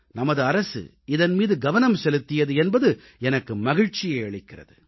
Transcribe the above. நமது அரசு இதன் மீது கவனம் செலுத்தியது என்பது எனக்கு மகிழ்ச்சியை அளிக்கிறது